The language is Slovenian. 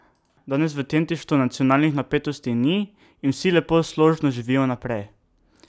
Danes v Tjentištu nacionalnih napetosti ni in vsi lepo složno živijo naprej.